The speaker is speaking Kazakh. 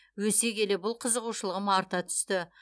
өсе келе бұл қызығушылығым арта түсті